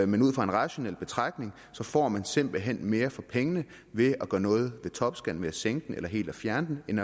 men ud fra en rationel betragtning får man simpelt hen mere for pengene ved at gøre noget ved topskatten ved at sænke den eller helt at fjerne den end